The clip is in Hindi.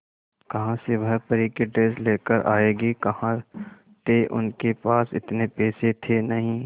कहां से वह परी की ड्रेस लेकर आएगी कहां थे उनके पास इतने पैसे थे नही